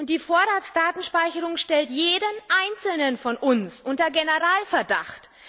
Die Vorratsdatenspeicherung stellte jeden Einzelnen von uns unter Generalverdacht.